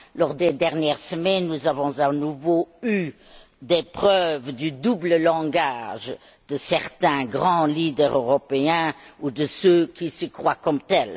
Lors des dernières semaines, nous avons à nouveau eu des preuves du double langage de certains grands leaders européens ou de ceux qui se croient tels.